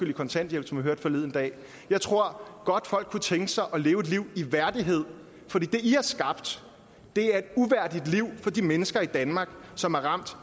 i kontanthjælp som vi hørte det forleden dag jeg tror godt folk kunne tænke sig at leve et liv i værdighed for det i har skabt er et uværdigt liv for de mennesker i danmark som er ramt